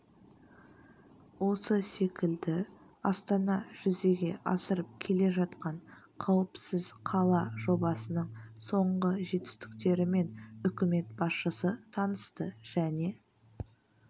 осы секілді астана жүзеге асырып келе жатқан қіуіпсіз қала жобасының соңғы жетістіктерімен үкімет басшысы танысты және